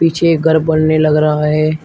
पीछे एक घर बनने लग रहा है।